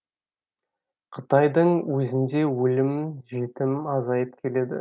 қытайдың өзінде өлім жітім азайып келеді